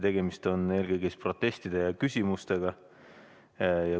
Tegemist on eelkõige protestide ja küsimustega.